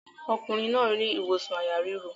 Ọkùnrin náà rí ìwòsàn àyà ríro.